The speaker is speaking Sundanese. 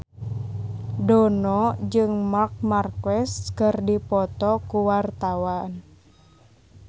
Dono jeung Marc Marquez keur dipoto ku wartawan